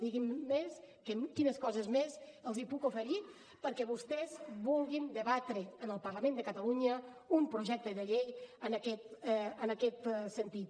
diguin me quines coses més els puc oferir perquè vostès vulguin debatre en el parlament de catalunya un projecte de llei en aquest sentit